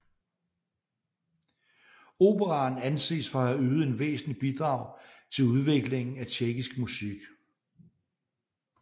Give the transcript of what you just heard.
Operaen anses for at have ydet et væsentligt bidrag til udviklingen af tjekkisk musik